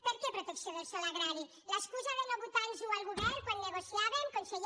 per què protecció del sòl agrari l’excusa de no votar·nos·ho el govern quan negociàvem conseller